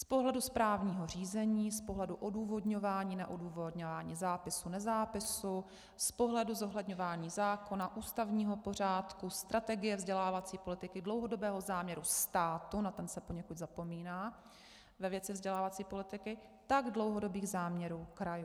Z pohledu správního řízení, z pohledu odůvodňování neodůvodňování zápisu nezápisu, z pohledu zohledňování zákona, ústavního pořádku, strategie vzdělávací politiky, dlouhodobého záměru státu, na ten se poněkud zapomíná ve věci vzdělávací politiky, tak dlouhodobých záměrů krajů.